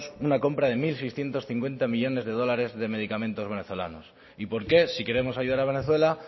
una compra de mil seiscientos cincuenta millónes de dólares de medicamentos venezolanos y por qué si queremos ayudar a venezuela